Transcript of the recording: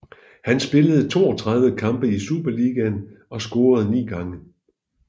Han spillede 32 kampe i Superligaen og scorede ni gange